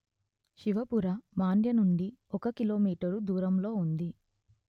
శివపుర మాండ్య నుండి ఒక కిలోమీటరు దూరంలో ఉంది